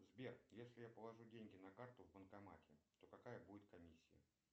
сбер если я положу деньги на карту в банкомате то какая будет комиссия